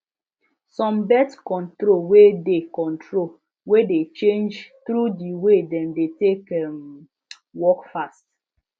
some birth control way de control way de change through the way dem de take um work fast